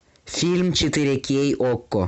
фильм четыре кей окко